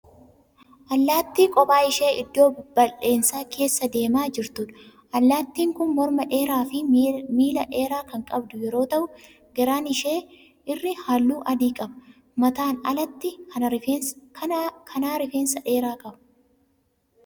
Allaattii kophaa ishee iddoo bal'eensa keessa deemaa jirtuudha. Allaattiin kun morma dheeraafi miila dheeraa kan qabdu yeroo ta'u garaan ishee irri halluu adii qaba. Mataan allaattii kanaa rifeensa dheeraa qaba.